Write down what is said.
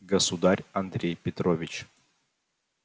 государь андрей петрович